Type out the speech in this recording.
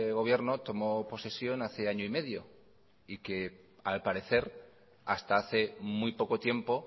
gobierno tomó posesión hace año y medio y que al parecer hasta hace muy poco tiempo